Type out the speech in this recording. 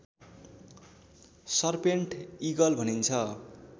serpent eagle भनिन्छ